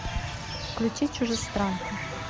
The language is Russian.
включи чужестранка